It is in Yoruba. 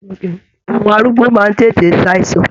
Àwọn arúgbó máa n tètè ṣàìsàn.